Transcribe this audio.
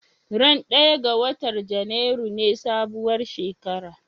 Ran ɗaya ga watar Janairu ne sabuwar shekara